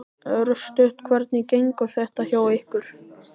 Örstutt, hvernig gengur þetta hjá ykkur?